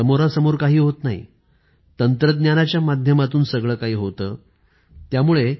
ढवळाढवळ होत नाही तंत्रज्ञानाच्या माध्यमातून हे सर्व व्यवहार होतात